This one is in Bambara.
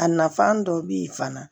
A nafan dɔ bi ye fana